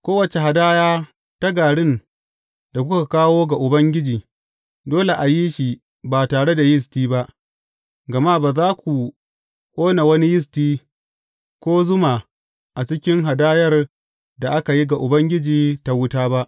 Kowace hadaya ta garin da kuka kawo ga Ubangiji, dole a yi shi ba tare da yisti ba, gama ba za ku ƙone wani yisti, ko zuma a cikin hadayar da aka yi ga Ubangiji ta wuta ba.